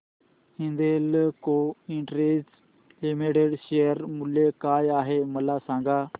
Hindalco industries limited share मूल्य काय आहे मला सांगा